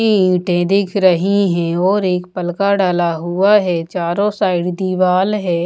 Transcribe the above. की ईटें दिख रही हैं और एक पलका डला हुआ है चारो साइड दीवाल है।